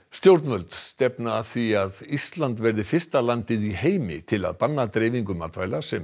stjórnvöld stefna að því að Ísland verði fyrsta land í heimi til að banna dreifingu matvæla sem